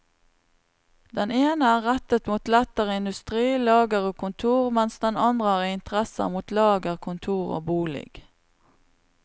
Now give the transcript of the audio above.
Den ene er rettet mot lettere industri, lager og kontor, mens den andre har interesser mot lager, kontor og bolig.